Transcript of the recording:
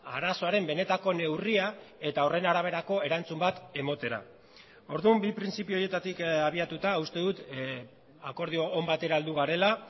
arazoaren benetako neurria eta horren araberako erantzun bat ematera orduan bi printzipio horietatik abiatuta uste dut akordio on batera heldu garela